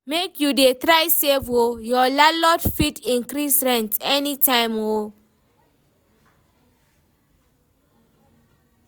Make you dey try save o, your landlord fit increase rent anytime o.